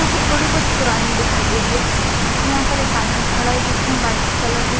क्योंकि थोड़ी बहुत पुरानी दिखाई दे रही है यहां पर एक आदमी खड़ा है जिसनें व्हाइट कलर की--